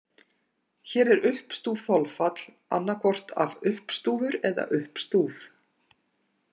Hér er uppstúf þolfall annaðhvort af uppstúfur eða uppstúf.